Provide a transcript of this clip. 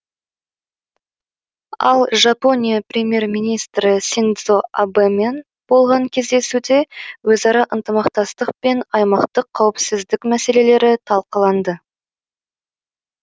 ал жапония премьер министрі синдзо абэмен болған кездесуде өзара ынтымақтастық пен аймақтық қауіпсіздік мәселелері талқыланды